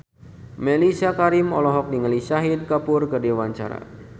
Mellisa Karim olohok ningali Shahid Kapoor keur diwawancara